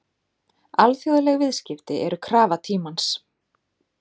Alþjóðleg viðskipti eru krafa tímans.